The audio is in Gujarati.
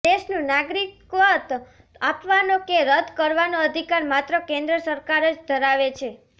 દેશનું નાગરિકત્વ આપવાનો કે રદ કરવાનો અધિકાર માત્ર કેન્દ્ર સરકાર જ ધરાવે છે